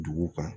Dugu kan